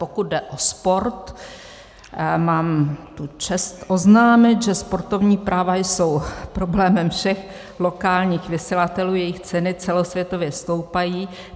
Pokud jde o sport, mám tu čest oznámit, že sportovní práva jsou problémem všech lokálních vysílatelů, jejich ceny celosvětově stoupají.